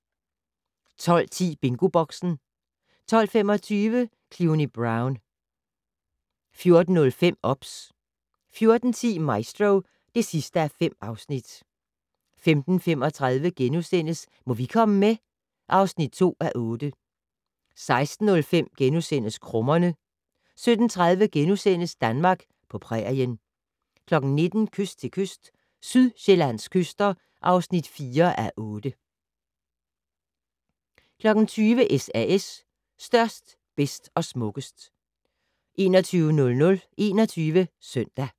12:10: BingoBoxen 12:25: Cluny Brown 14:05: OBS 14:10: Maestro (5:5) 15:35: Må vi komme med? (2:8)* 16:05: Krummerne * 17:30: Danmark på prærien * 19:00: Kyst til kyst - Sydsjællands kyster (4:8) 20:00: SAS - størst, bedst og smukkest 21:00: 21 Søndag